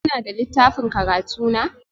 Kuna da littafin karatu na?